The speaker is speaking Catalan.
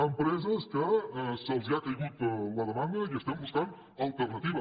empreses que els ha caigut la demanda i estem buscant alternatives